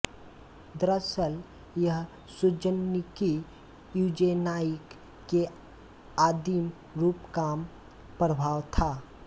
दरसल यह सुज़ननिकी यूजेनाइक के आदिम रूप काम प्रभाव था